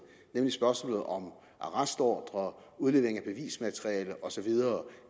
nemlig spørgsmålet om arrestordre udlevering af bevismateriale osv